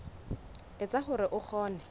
e etsa hore o kgone